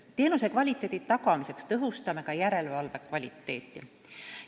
Teenuse kvaliteedi tagamiseks tõhustame ka järelevalve kvaliteeti.